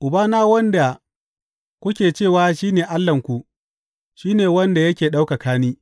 Ubana, wanda kuke cewa shi ne Allahnku, shi ne wanda yake ɗaukaka ni.